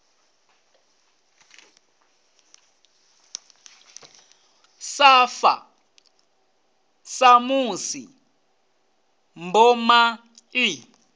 sa fa samusi mboma i